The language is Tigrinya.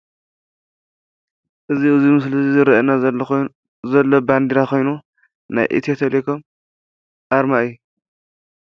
እዚ ኣብዚ ምስሊ ዝረኢና ዘሎ ኮይኑ ዘሎ ባንደራ ኮይኑ ናይ ኢትዮ ቴሌኮም ኣርማ እዩ።